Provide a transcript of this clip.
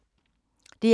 DR K